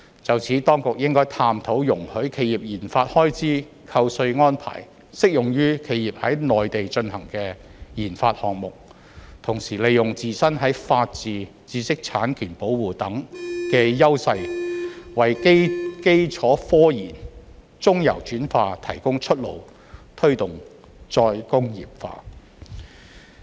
就此，當局應該探討容許企業研發開支扣稅安排適用於企業在內地進行的研發項目。同時利用自身在法治、知識產權保護等方面的優勢，為基礎科研、中游轉化提供出路，推動再工業化。